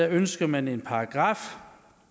ønsker man en paragraf